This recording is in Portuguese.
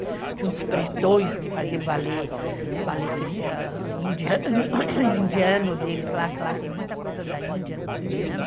Tinha uns pretões que faziam ballet, ballet ballet indiano deles lá, que lá tem muita coisa da Índia, no Suriname.